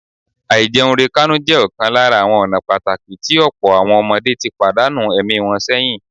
Àìjẹunrekánú jẹ ọ̀kan lára ​​àwọn ọ̀nà pàtàkì tí ọ̀pọ̀ àwọn ọmọdé ti pàdánù ẹ̀mí wọn sẹ́yìn